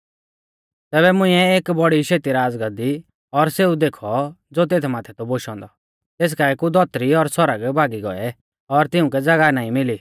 तैबै मुंइऐ एक बौड़ी शेती राज़गाद्दी और सेऊ देखौ ज़ो तेथ माथै थौ बोशौ औन्दौ तेस काऐ कु धौतरी और सौरग भागी गौऐ और तिउंकै ज़ागाह नाईं मिली